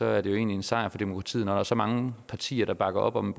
er det egentlig en sejr for demokratiet når der er så mange partier der bakker op om